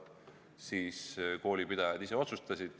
Siis koolipidajad ise otsustasid.